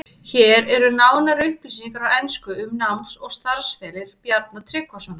Hér eru nánari upplýsingar á ensku um náms- og starfsferil Bjarna Tryggvasonar.